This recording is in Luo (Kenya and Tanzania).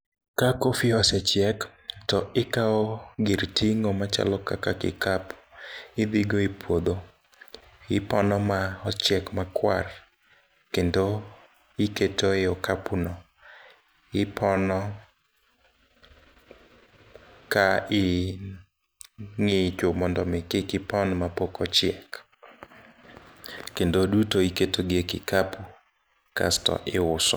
Ka coffee osechiek, to ikao gir ting'o machalo kaka kikapu idhigo e puodho ipono maochiek makwar kendo iketo ei okapuno, ipono kaing'icho mondomi kikipon mapok ochiek, kendo duto iketogi e kikapu kasto iuso.